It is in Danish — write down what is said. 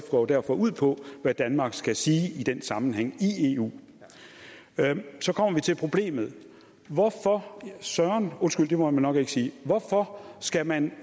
går derfor ud på hvad danmark skal sige i den sammenhæng i eu så kommer vi til problemet hvorfor søren undskyld det må man nok ikke sige hvorfor skal man